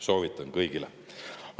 Soovitan kõigile.